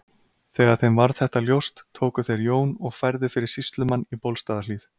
Þegar þeim varð þetta ljóst tóku þeir Jón og færðu fyrir sýslumann í Bólstaðarhlíð.